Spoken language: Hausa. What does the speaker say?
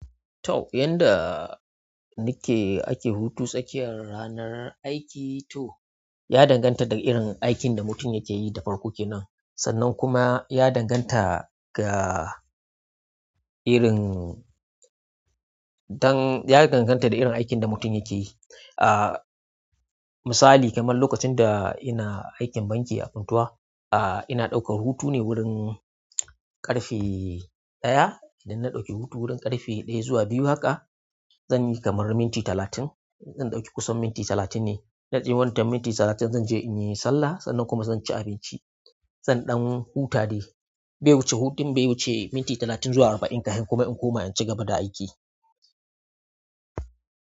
To, yanda nike ake hutu tsakiyar ranar aiki to ya danganta da irin aikin da mutum yake yi da farko kenan, sannan kuma ya danganta ga irin-- dan ya danganta da irin aikin da mutum yake yi. Ah misali kamar lokacin da ina aikin banki a funtua ah ina ɗaukar wurin ƙarfe ɗaya idan ina ɗauke hutu wurin ƙarfe ɗaya zuwa biyu haka, zan yi kamar minti talatin. Zan ɗauki kusan minti talatin ne. Zanje wannan minti talatin zan je in yi sallah sannan kuma zan ci abinci. San ɗan huta dai, bai wuce hutun bai wuce minti talatin zuwa arba'in kafin kuma in koma in ci gaba da aiki.